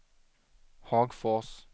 Hagfors